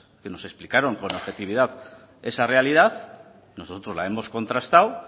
que nos explicaron con objetividad esa realidad nosotros la hemos contrastado